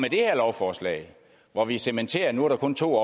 det her lovforslag hvor vi cementerer at nu er der kun to